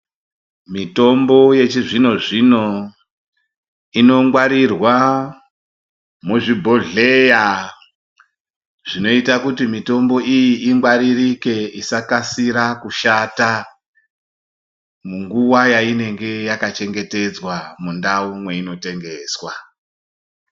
Mitombo yechizvinozvino inongwarirwa muzvibhohleya zvinoita kuti mitombo iyi ingwaririke isakasira kushata munguwa yainenge yakachengetedzwa mundau yeinotengeswa.